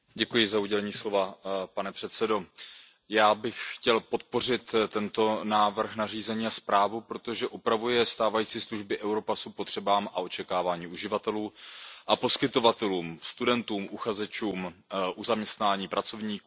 Pane předsedající, já bych chtěl podpořit tento návrh nařízení a zprávu, protože upravuje stávající služby Europassu potřebám a očekáváním uživatelů a poskytovatelů, studentů a uchazečů o zaměstnání, pracovníků a zaměstnavatelů.